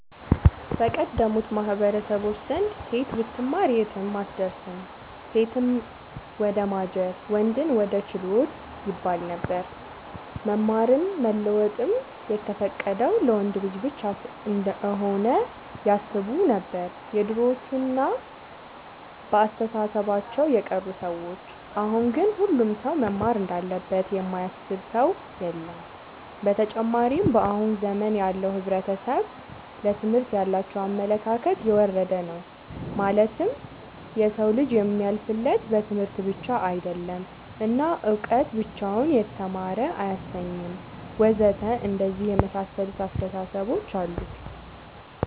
በቀደሙት ማህበረሰቦች ዘንድ ሴት ብትማር የትም አትደርስም ሴትን ወደማጀት ወንድን ወደ ችሎት ይባለነበር። መማርም መለወጥም የተፈቀደው ለወንድ ልጅ ብቻ እንሆነ ያስቡነበር የድሮዎቹ እና በአስተሳሰባቸው የቀሩ ሰዎች አሁን ግን ሁሉም ሰው መማር እንዳለበት የማያስብ ሰው የለም። ብተጨማርም በአሁን ዘመን ያለው ሕብረተሰብ ለትምህርት ያላቸው አመለካከት የወረደ ነው ማለትም የሰው ልጅ የሚያልፍለት በትምህርት ብቻ አይደለም እና እውቀት ብቻውን የተማረ አያሰኝም ወዘተ አንደነዚህ የመሳሰሉት አስታሳሰቦች አሉ